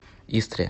истре